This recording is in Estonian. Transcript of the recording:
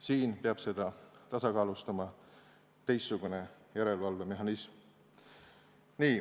Siin peab seda tasakaalustama teistsugune järelevalvemehhanism.